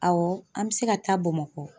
Awɔ an bɛ se ka taa Bamakɔ